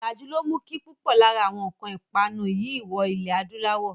Ọ̀làjú ló mú kí púpò lára àwọn nǹkan ìpanu yìí wọ ilẹ̀ adúláwọ̀.